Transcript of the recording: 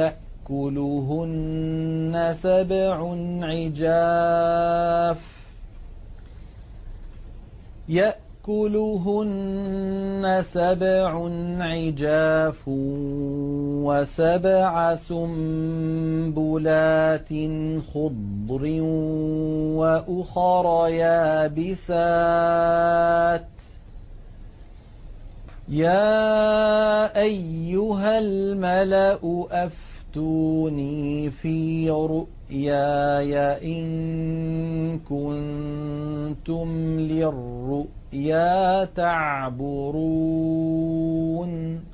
يَأْكُلُهُنَّ سَبْعٌ عِجَافٌ وَسَبْعَ سُنبُلَاتٍ خُضْرٍ وَأُخَرَ يَابِسَاتٍ ۖ يَا أَيُّهَا الْمَلَأُ أَفْتُونِي فِي رُؤْيَايَ إِن كُنتُمْ لِلرُّؤْيَا تَعْبُرُونَ